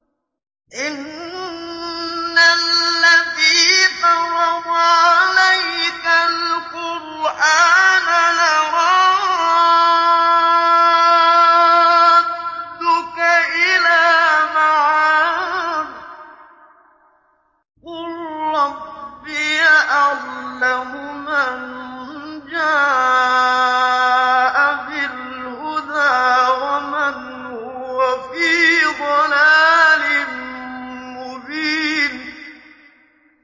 إِنَّ الَّذِي فَرَضَ عَلَيْكَ الْقُرْآنَ لَرَادُّكَ إِلَىٰ مَعَادٍ ۚ قُل رَّبِّي أَعْلَمُ مَن جَاءَ بِالْهُدَىٰ وَمَنْ هُوَ فِي ضَلَالٍ مُّبِينٍ